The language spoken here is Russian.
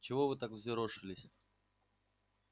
чего вы так взъерошились